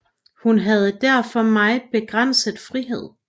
Hun havde derfor meget begrænset frihed